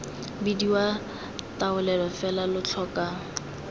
bidiwa taolelo fela lo tlhoka